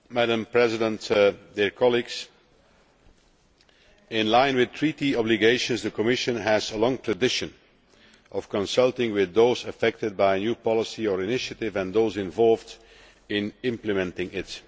Madam President, in line with Treaty obligations, the Commission has a long tradition of consulting with those affected by a new policy or initiative and those involved in implementing it.